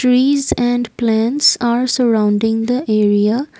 trees and plants are surrounding the area.